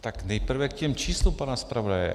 Tak nejprve k těm číslům pana zpravodaje.